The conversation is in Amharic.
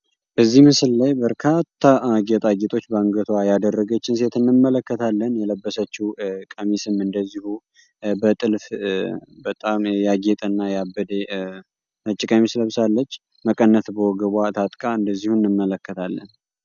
እዚህ ምስል ላይ በርካታ ጌጣጌጦች በአንገትዋ ያደረገች ሴት እንመለከታለን። የለበሰችው ቀሚስም እንደዚሁ በጥልፍ በጣም ያጌጠ እና ያበደ ነጭ ቀሚስ ለብሳለች። መቀነት በወገብዋ ታጥቃ እንደዚሁ እንመለከታለን።